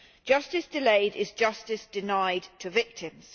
Justice delayed is justice denied to victims.